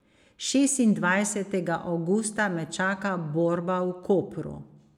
Šestindvajsetega avgusta me čaka borba v Kopru.